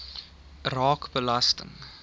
raak belasting